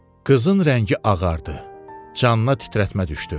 Qızın rəngi ağardı, canına titrətmə düşdü.